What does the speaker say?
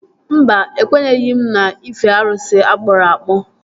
Mba, ekwenyeghị m n'ife arụsị akpụrụ akpụ